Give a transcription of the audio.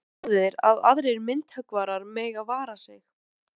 Svo góður að aðrir myndhöggvarar mega vara sig.